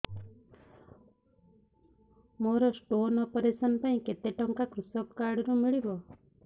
ମୋର stone operation ପାଇଁ କେତେ ଟଙ୍କା କୃଷକ କାର୍ଡ ରୁ ମିଳିବ